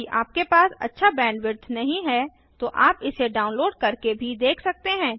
यदि आपके पास अच्छा बैंडविड्थ नहीं है तो आप इसे डाउनलोड़ करके भी देख सकते हैं